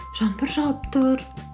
жаңбыр жауып тұр